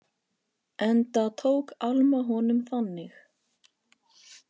Enda tók Alma honum þannig.